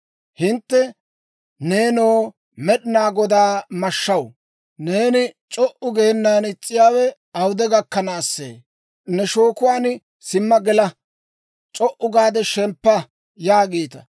«Hintte, ‹Neenoo Med'inaa Godaa mashshaw, neeni c'o"u geenan is's'iyaawe awude gakkanaasee? Ne shookuwaan simma gela! C'o"u gaade shemppa!› yaagiita.